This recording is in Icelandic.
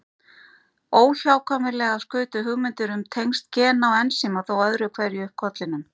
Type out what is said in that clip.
Óhjákvæmilega skutu hugmyndir um tengsl gena og ensíma þó öðru hverju upp kollinum.